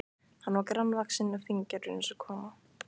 Hann var grannvaxinn og fíngerður eins og kona.